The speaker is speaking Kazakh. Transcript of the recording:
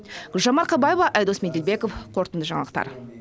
гүлжан марқабаева айдос меделбеков қорытынды жаңалықтар